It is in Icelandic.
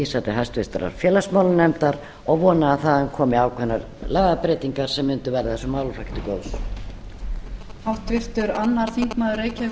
til háttvirtrar félagsmálanefndar og vona að þaðan komi ákveðnar lagabreytingar sem mundu verða þessum málaflokki til góðs